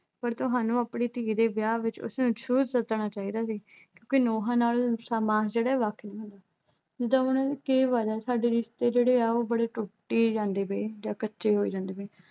ਪਰ ਤੁਹਾਨੂੰ ਆਪਣੀ ਧੀ ਦੇ ਵਿਆਹ ਵਿੱਚ ਉਸਨੂੰ ਜਰੂਰ ਸੱਦਣਾ ਚਾਹੀਦਾ ਸੀ ਕਿਉਂਕਿ ਨੁੰਹਾਂ ਨਾਲੋਂ ਮਾਸ ਜਿਹੜਾ ਵੱਖ ਨਹੀਂ ਹੁੰਦਾ। ਦੂਜਾ ਹੁਣ ਇਹ ਗੱਲ ਆ ਸਾਡੇ ਰਿਸ਼ਤੇ ਜਿਹੜੇ ਆ ਉਹ ਬੜੇ ਟੁੱਟੀ ਜਾਂਦੇ ਪਏ ਜਾਂ ਕੱਚੇ ਹੋਈ ਜਾਂਦੇ ਪਏ।